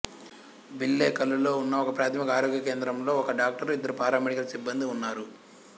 బిల్లేకల్లులో ఉన్న ఒకప్రాథమిక ఆరోగ్య కేంద్రంలో ఒక డాక్టరు ఇద్దరు పారామెడికల్ సిబ్బందీ ఉన్నారు